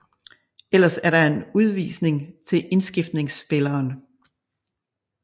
Ellers er der en udvisning til indskiftningsspilleren